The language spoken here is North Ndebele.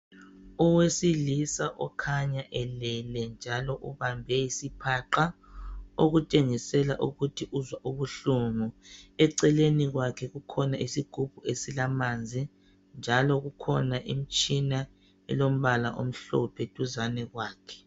Owesilisa okhanya elele njalo ubambe isiphaqa okutshengisela ukuthi uzwa ubuhlungu eceleni kwakhe kukhona isigubhu esilamanzi njalo kukhona imtshina elombala omhlophe duzane kwakhe